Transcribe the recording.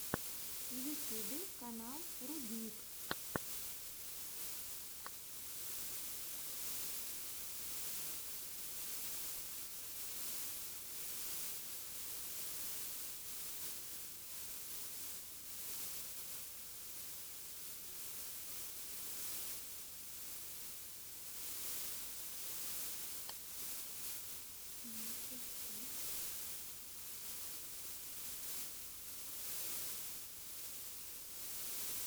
в ютюбе канал рудник